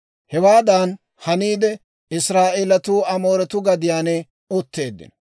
Hewaadan haniide, Israa'eelatuu Amooretuu gadiyaan utteeddino.